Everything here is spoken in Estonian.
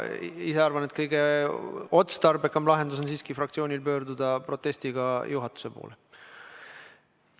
Ma ise arvan, et kõige otstarbekam lahendus on fraktsioonil pöörduda protestiga juhatuse poole.